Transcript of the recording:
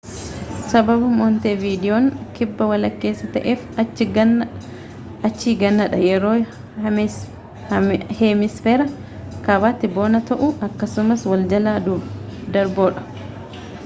sababa montevidiyoon kibba walakkeessaa ta'eef achi ganna dha yeroo heemisferaa kaabaatti bona ta'u akkasumas wal jala darboodha